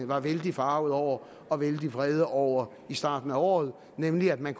var vældig forargede over og vældig vrede over i starten af året nemlig at man